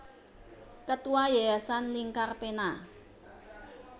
Ketua Yayasan Lingkar Pena